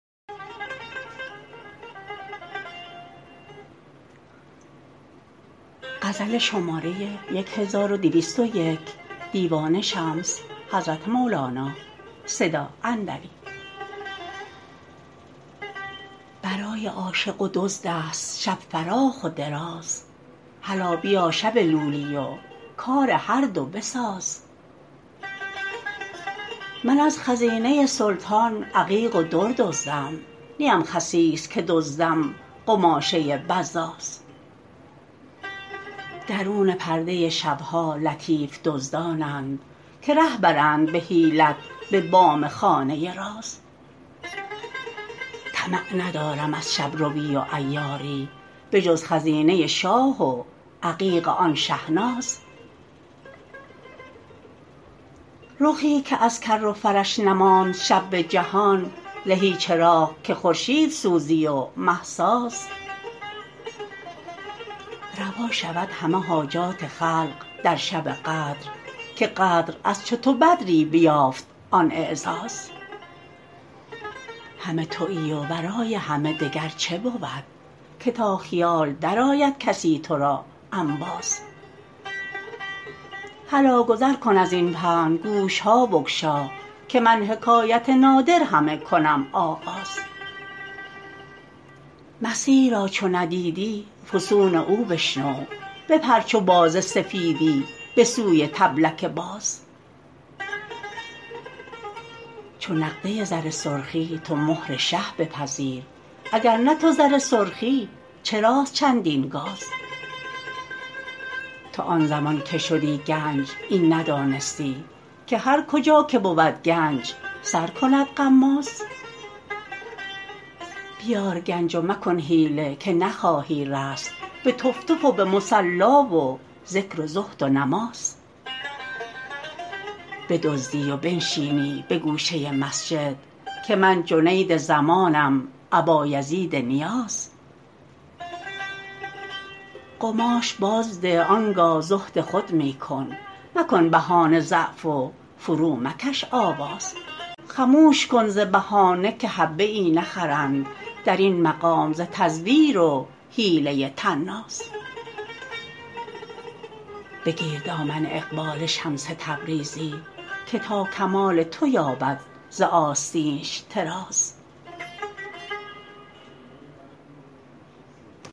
برای عاشق و دزدست شب فراخ و دراز هلا بیا شب لولی و کار هر دو بساز من از خزینه سلطان عقیق و در دزدم نیم خسیس که دزدم قماشه بزاز درون پرده شب ها لطیف دزدانند که ره برند به حیلت به بام خانه راز طمع ندارم از شب روی و عیاری بجز خزینه شاه و عقیق آن شه ناز رخی که از کر و فرش نماند شب به جهان زهی چراغ که خورشید سوزی و مه ساز روا شود همه حاجات خلق در شب قدر که قدر از چو تو بدری بیافت آن اعزاز همه توی و ورای همه دگر چه بود که تا خیال درآید کسی تو را انباز هلا گذر کن از این پهن گوش ها بگشا که من حکایت نادر همه کنم آغاز مسیح را چو ندیدی فسون او بشنو بپر چو باز سفیدی به سوی طبلک باز چو نقده زر سرخی تو مهر شه بپذیر اگر نه تو زر سرخی چراست چندین گاز تو آن زمان که شدی گنج این ندانستی که هر کجا که بود گنج سر کند غماز بیار گنج و مکن حیله که نخواهی رست به تف تف و به مصلا و ذکر و زهد و نماز بدزدی و بنشینی به گوشه مسجد که من جنید زمانم ابایزید نیاز قماش بازده آن گاه زهد خود می کن مکن بهانه ضعف و فرومکش آواز خموش کن ز بهانه که حبه ای نخرند در این مقام ز تزویر و حیله طناز بگیر دامن اقبال شمس تبریزی که تا کمال تو یابد ز آستینش طراز